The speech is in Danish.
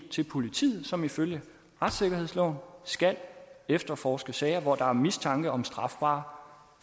til politiet som ifølge retssikkerhedsloven skal efterforske sager hvor der er mistanke om strafbare